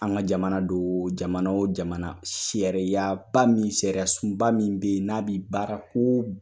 An ka jamana de o, jamana o jamana sariyaba min sariyasunba min bɛ yen, n'a bɛ baara ko